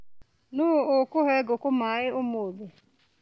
Nũu ũkũhe ngukũ maĩ ũmũthĩ.